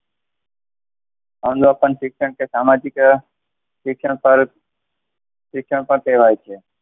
અનુપમ શિક્ષણ અને સામાજિકરણ શિક્ષણ પર જ શિક્ષણ કેળવાય છે.